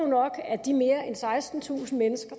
nok at de mere end sekstentusind mennesker